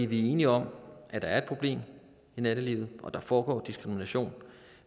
vi er enige om at der er et problem i nattelivet og at der foregår diskrimination